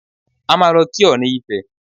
A máa lọ kí ọ̀ọ̀ni ifẹ̀.